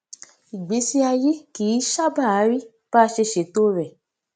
ìgbésí ayé kì í sábàá rí bá a ṣe seto rẹ